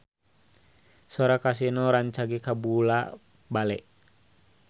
Sora Kasino rancage kabula-bale